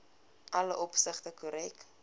alle opsigte korrek